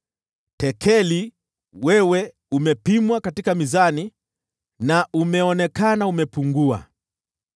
Tekeli : Wewe umepimwa katika mizani na umeonekana umepungua.